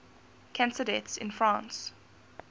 cancer deaths in france